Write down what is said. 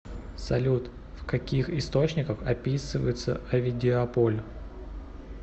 салют в каких источниках описывается овидиополь